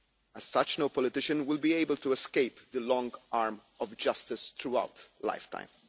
As such, no politician will be able to escape the long arm of justice throughout their life time.